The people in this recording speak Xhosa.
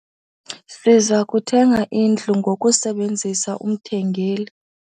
Siza kuthenga indlu ngokusebenzisa umthengeli.